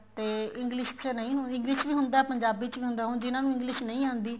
ਤੇ English ਪਿੱਛੇ ਨਹੀਂ ਹੁਣ English ਚ ਵੀ ਹੁੰਦਾ ਪੰਜਾਬੀ ਚ ਵੀ ਹੁੰਦਾ ਹੁਣ ਜਿਹਨਾ ਨੂੰ English ਨਹੀਂ ਆਂਦੀ